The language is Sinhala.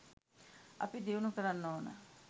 අපි දියුණු කරන්න ඕන